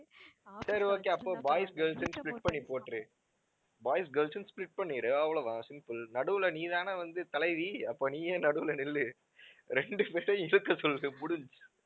சரி okay அப்போ boys, girls ன்னு split பண்ணி போட்டுரு. boys, girls ன்னு split பண்ணிடு, அவ்ளோ தான் simple நடுவில நீதானே வந்து தலைவி அப்ப நீயே நடுவில நில்லு. ரெண்டு பேரையும் இழுக்க சொல்லு முடிஞ்சிச்சு.